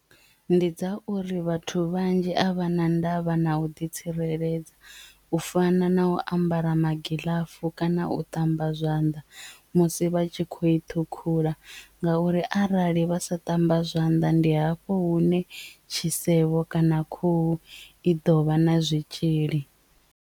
Ndi dza uri vhathu vhanzhi a vha na ndavha na u ḓitsireledza u fana na u ambara magiḽafu kana u ṱamba zwanḓa musi vha tshi khou i ṱhukhula ngauri arali vha sa ṱamba zwanḓa ndi hafho hune tshisevho kana khuhu i ḓo vha na zwitzhili.